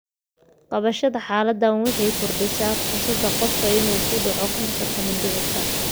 Qabashada xaaladdan waxay kordhisaa fursadda qofka inuu ku dhaco kansarka mindhicirka.